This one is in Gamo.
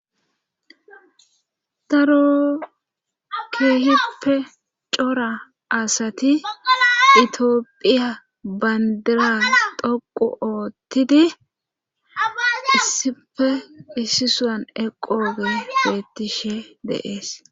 Daro keehippe cora asati itiophiya bandira dhoqu oottidi issife issisan eqooge geettishe deees